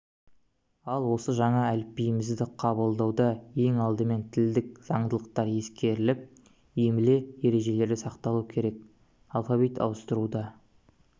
ал осы жаңа әліпбиімізді қабылдауда ең алдымен тілдік заңдылықтар ескеріліп емле ережелері сақталуы керек алфавит ауыстыруда